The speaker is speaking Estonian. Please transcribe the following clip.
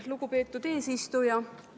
Lugupeetud eesistuja!